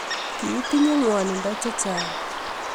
Kiitinye ngwanindo chechang